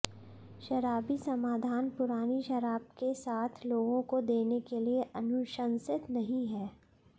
शराबी समाधान पुरानी शराब के साथ लोगों को देने के लिए अनुशंसित नहीं है